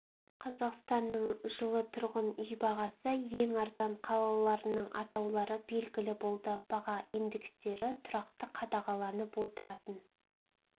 қазақстанның жылы тұрғын үй бағасы ең арзан қалаларының атаулары белгілі болды баға индекстері тұрақты қадағаланып отыратын